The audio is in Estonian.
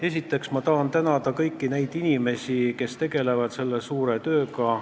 Esiteks tahan ma tänada kõiki inimesi, kes tegelevad selle suure tööga.